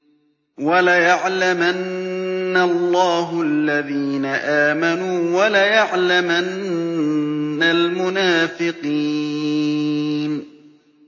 وَلَيَعْلَمَنَّ اللَّهُ الَّذِينَ آمَنُوا وَلَيَعْلَمَنَّ الْمُنَافِقِينَ